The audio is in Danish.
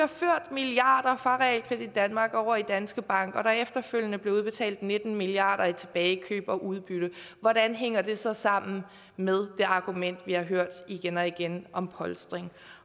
milliarder fra realkredit danmark over i danske bank og der efterfølgende bliver udbetalt nitten milliard kroner i tilbagekøb og udbytter hvordan hænger det så sammen med det argument vi har hørt igen og igen om polstring